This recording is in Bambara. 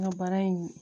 N ka baara in